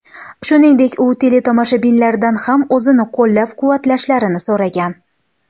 Shuningdek, u teletomoshabinlardan ham o‘zini qo‘llab-quvvatlashlarini so‘ragan.